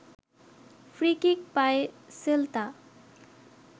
free kick পায় Celta